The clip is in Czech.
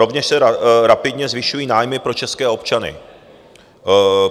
Rovněž se rapidně zvyšují nájmy pro české občany.